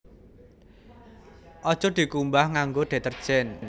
Aja dikumbah nganggo detergen